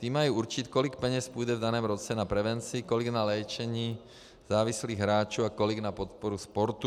Ty mají určit, kolik peněz půjde v daném roce na prevenci, kolik na léčení závislých hráčů a kolik na podporu sportu.